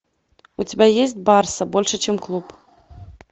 у тебя есть барса больше чем клуб